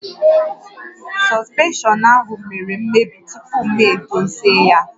Sọspenshọn ahụ mèrè mmebi tupu m edozi ya